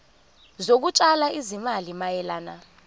zokutshala izimali mayelana